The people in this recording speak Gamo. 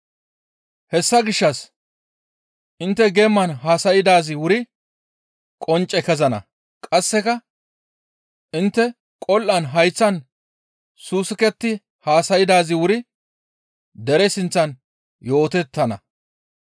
Hessa gishshas intte geeman haasaydaazi wuri qoncce kezana; qasseka intte qol7an hayththan saasuketti haasaydaazi wuri dere sinththan yootettana.